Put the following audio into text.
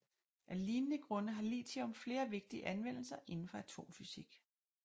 Af lignende grunde har lithium flere vigtige anvendelser indenfor atomfysik